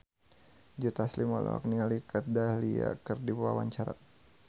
Joe Taslim olohok ningali Kat Dahlia keur diwawancara